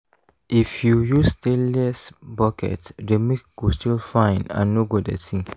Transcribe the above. if you use stainless bucket the milk go still fine and no go dirty.